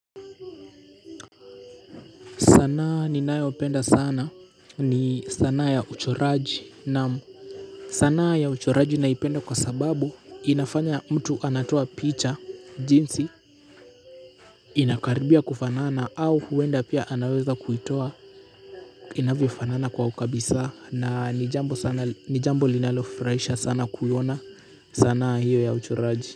Sanaa ninayopenda sana ni sanaa ya uchoraji na sanaa ya uchoraji naipenda kwa sababu inafanya mtu anatoa picha jinsi inakaribia kufanana au huenda pia anaweza kuitoa inavyofanana kwa ukabisa na ni jambo linalofurahisha sana kuiona sanaa hio ya uchoraji.